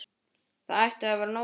Það ætti að vera nóg til.